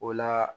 O la